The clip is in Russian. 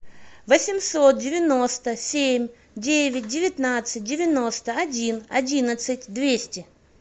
восемьсот девяносто семь девять девятнадцать девяносто один одиннадцать двести